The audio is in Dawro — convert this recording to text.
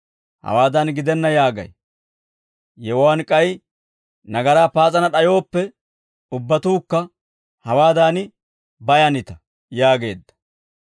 Hawaadan gidenna yaagay; yewuwaan k'ay nagaraa paas'ana d'ayooppe ubbatuukka hawaadan bayanita» yaageedda.